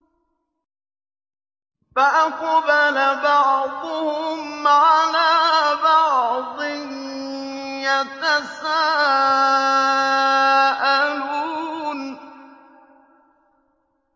فَأَقْبَلَ بَعْضُهُمْ عَلَىٰ بَعْضٍ يَتَسَاءَلُونَ